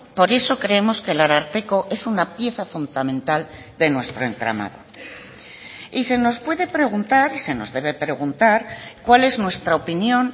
por eso creemos que el ararteko es una pieza fundamental de nuestro entramado y se nos puede preguntar y se nos debe preguntar cuál es nuestra opinión